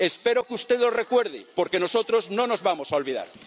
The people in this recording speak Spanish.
Espero que usted lo recuerde, porque nosotros no nos vamos a olvidar.